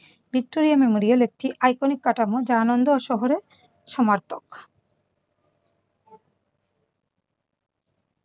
Victoria memorial একটি iconic কাঠামো যা আনন্দ ও শহরের সমার্থক।